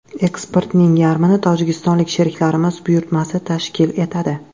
Eksportning yarmini tojikistonlik sheriklarimiz buyurtmasi tashkil etadi.